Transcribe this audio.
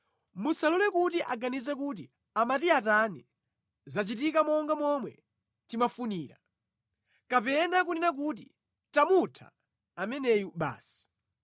Musalole kuti aganize kuti, “Amati atani, zachitika monga momwe timafunira!” Kapena kunena kuti, “Tamutha ameneyu basi.”